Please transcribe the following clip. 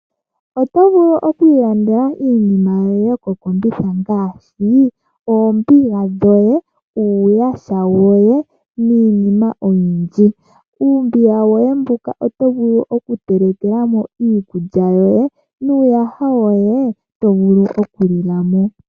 Oto vulu oku ilandela iinima yoye yomokombitha ngaashi oombiga, uuyaha woye niinima oyindji. Moombiga dhoye ndhoka oto vulu okutelekela mo iikulya yoye nuuyaha woye oto vulu okulila mo.